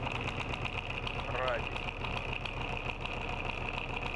радику